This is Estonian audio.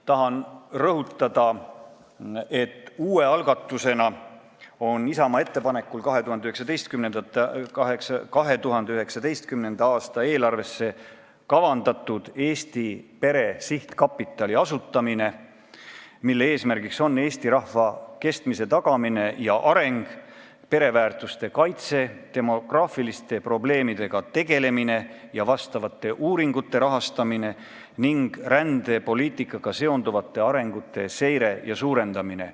Tahan rõhutada, et uue algatusena on Isamaa ettepanekul 2019. aasta eelarve toel kavandatud asutada Eesti pere sihtkapital, mille eesmärk on eesti rahva kestmise tagamine ja areng, pereväärtuste kaitse, demograafiliste probleemidega tegelemine ja sellesisuliste uuringute rahastamine, samuti rändepoliitikaga seonduvate arengute seire ja toetamine.